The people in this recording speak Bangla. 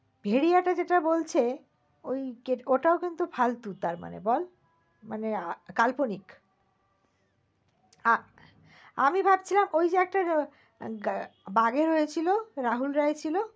ভেড়িয়া যেটা বলছে ঐ যে ওটা ও কিন্তু ফালতু তার মানে বল? মানে আহ কাল্পনিক। আ~ আমি ভাবছিলাম ঐ যে একটা বাঘের হয়ে ছিল রাহুল রয় ছিল?